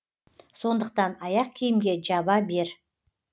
сондықтан аяқ киімге жаба бер